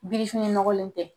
Birifini nɔgɔlen tɛ